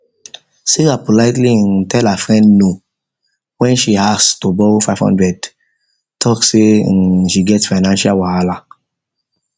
sarah politely um tell her friend no when she ask to borrow five hundred talk say um she get financial wahala